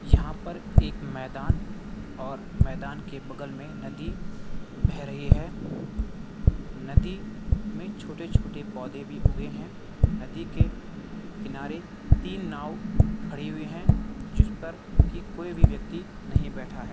यहाँ पर एक मैदान और मैदान के बगल में नदी बहा रही है नदी में छोटे छोटे पौधे भी उगे हैं नदी के किनारे तीन नाव खड़ी हुई हैं जिस पर की कोई भी व्यक्ति नहीं बैठा है।